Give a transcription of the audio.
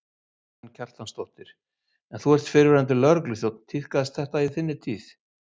Karen Kjartansdóttir: En þú ert fyrrverandi lögregluþjónn, tíðkaðist þetta í þinni tíð?